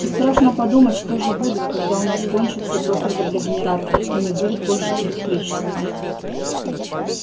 и страшно подумать что же будет когда у нас кончится топливо для генераторов и не будет больше электричества